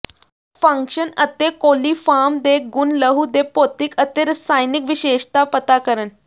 function ਅਤੇ coliform ਦੇ ਗੁਣ ਲਹੂ ਦੇ ਭੌਤਿਕ ਅਤੇ ਰਸਾਇਣਕ ਵਿਸ਼ੇਸ਼ਤਾ ਪਤਾ ਕਰਨ